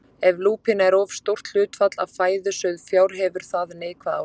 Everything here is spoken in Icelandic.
Ef lúpína er of stórt hlutfall af fæðu sauðfjár hefur það neikvæð áhrif.